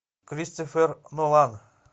кристофер нолан